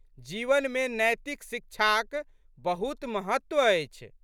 जीवनमे नैतिक शिक्षाक बहुत महत्व अछि।